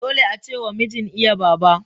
Dole ace wa mijin iya Baba.